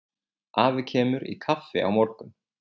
Afi kemur í kaffi á morgun.